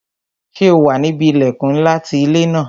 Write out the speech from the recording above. Ṣé o wà níbi ilẹkun ńlá ti ilé ńlá